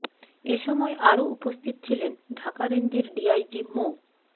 এ সময় আরও উপস্থিত ছিলেন ঢাকা রেঞ্জের ডিআইজি মো